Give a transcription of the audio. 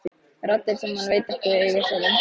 Raddir sem hann veit að eiga sér engin rök.